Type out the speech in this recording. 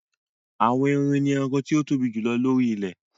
Àwọn erin ni ẹranko tó tóbi jù lóri ilẹ̀